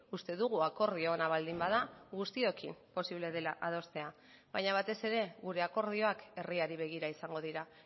uste dugu akordio ona baldin bada guztiokin posible dela adostea baina batez ere gure akordioak herriari begira izango dira